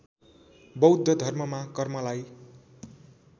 बौद्ध धर्ममा कर्मलाई